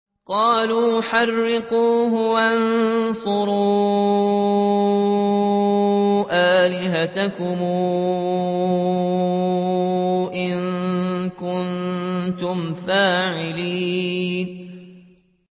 قَالُوا حَرِّقُوهُ وَانصُرُوا آلِهَتَكُمْ إِن كُنتُمْ فَاعِلِينَ